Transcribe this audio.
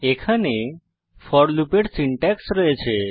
এখানে ফোর লুপের সিনট্যাক্স রয়েছে